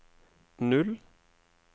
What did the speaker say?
null